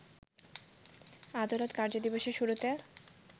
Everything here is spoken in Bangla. আদালত কার্যদিবসের শুরুতে